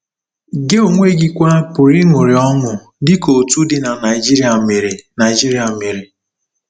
Gị onwe gị kwa pụrụ ịṅụrị ọṅụ dị ka otu di na Nigeria mere Nigeria mere.